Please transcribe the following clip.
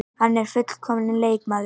Hann er fullkomnasti leikmaðurinn.